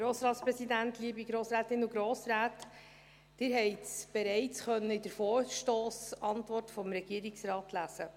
Sie konnten es bereits in der Vorstossantwort des Regierungsrates lesen: